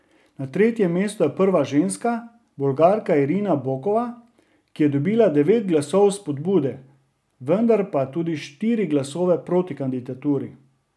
Na tretjem mestu je prva ženska, Bolgarka Irina Bokova, ki je dobila devet glasov vzpodbude, vendar pa tudi štiri glasove proti kandidaturi.